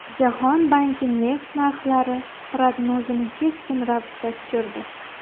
Jahon banki neft narxlari prognozini keskin ravishda tushirdi.